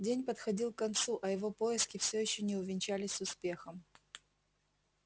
день подходил к концу а его поиски все ещё не увенчались успехом